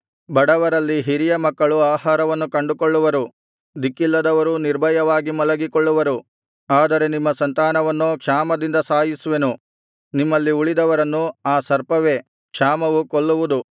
ಬಡವರಲ್ಲಿ ಹಿರಿಯ ಮಕ್ಕಳು ಆಹಾರವನ್ನು ಕಂಡುಕೊಳ್ಳುವರು ದಿಕ್ಕಿಲ್ಲದವರೂ ನಿರ್ಭಯವಾಗಿ ಮಲಗಿಕೊಳ್ಳುವರು ಆದರೆ ನಿಮ್ಮ ಸಂತಾನವನ್ನೋ ಕ್ಷಾಮದಿಂದ ಸಾಯಿಸುವೆನು ನಿಮ್ಮಲ್ಲಿ ಉಳಿದವರನ್ನು ಆ ಸರ್ಪವೇ ಕ್ಷಾಮವು ಕೊಲ್ಲುವುದು